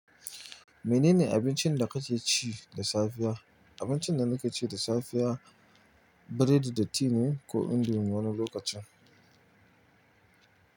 Menene abincin da kake ci da safiya? Abincin da nake ci da safiya biredi da ti ne ko indomi wani lokacin.